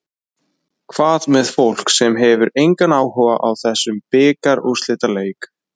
Hvað með fólk sem hefur engan áhuga á þessum bikarúrslitaleik?